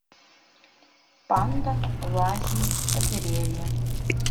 панда лазает по деревьям